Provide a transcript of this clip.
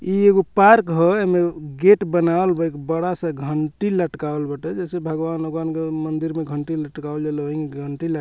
इ एगो पार्क ह एमे गेट बनावल बा एगो बड़ा-सा घंटी लटकावल बाटे जैसे भगवान उगवान के मंदिर में जैसे घंटी लटकावल जला ओहि में घंटी ल --